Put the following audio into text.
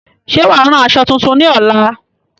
Ṣé wàá rán aṣọ tuntun ní ọ̀la?